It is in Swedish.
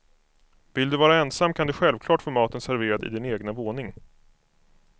Vill du vara ensam kan du självklart få maten serverad i din egna våning.